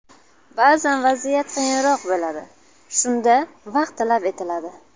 Ba’zan vaziyat qiyinroq bo‘ladi, shunda vaqt talab etiladi.